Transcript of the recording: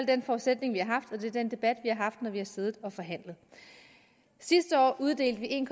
den forudsætning vi har haft og det er den debat vi har haft når vi har siddet og forhandlet sidste år uddelte vi en